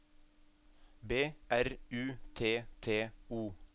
B R U T T O